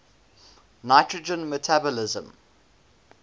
nitrogen metabolism